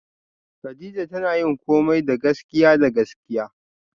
Kadija tana yin komai da gaskiya da gaskiya